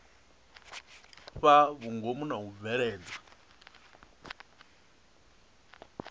fhaa vhungomu na u bveledza